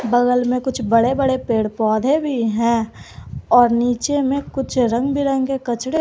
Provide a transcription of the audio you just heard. बगल में कुछ बड़े बड़े पेड़ पौधे भी हैं और नीचे में कुछ रंग बिरंगे कचरे--